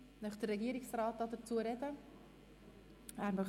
Möchte der Regierungsrat dazu sprechen?